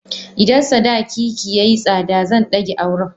Idan sadaki ki yayi tsada zan dage auren.